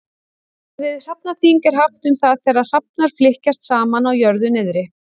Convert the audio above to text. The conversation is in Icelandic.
Orðið hrafnaþing er haft um það þegar hrafnar flykkjast saman á jörðu niðri.